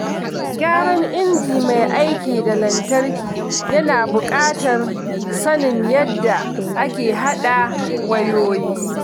Gyaran injin mai aiki da lantarki yana buƙatar sanin yadda ake haɗa wayoyi.